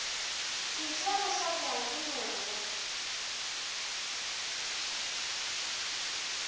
ntle go hlabja ke moya